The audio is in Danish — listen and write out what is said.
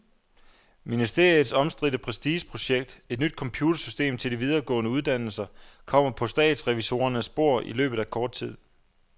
Ministeriets omstridte prestigeprojekt, et nyt computersystem til de videregående uddannelser, kommer på statsrevisorernes bord i løbet af kort tid.